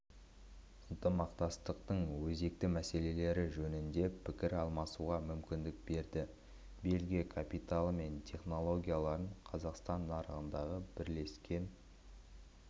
ынтымақтастықтың өзекті мәселелері жөнінде пікір алмасуға мүмкіндік берді бельгия капиталы мен технологияларын қазақстан нарығындағы бірлескен